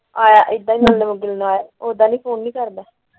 ਓਦਾਂ ਵੀ ਫੋਨ ਨਹੀਂ ਕਰਦਾ। ਹੋ ਕੇ ਗਿਆ ਸੀ। ਹਾਂ।